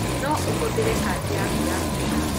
No ũhũthĩre kadi yaku ya kũrĩha.